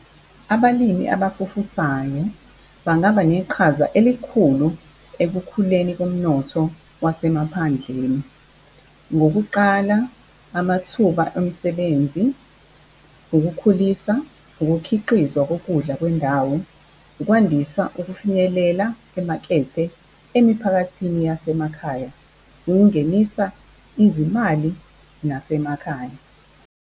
Abalimi abafufusayo bangaba neqhaza elikhulu ekukhuleni komnotho wasemaphandleni. Ngokuqala amathuba emsebenzi, ukukhulisa ukukhiqizwa kokudla kwendawo. Ukwandisa ukufinyelela emakethe, emiphakathini yasemakhaya, ukungenisa izimali nasemakhaya.